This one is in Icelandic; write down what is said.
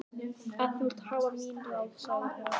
Ef þú vilt hafa mín ráð, sagði hún.